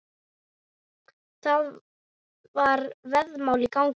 Það var veðmál í gangi.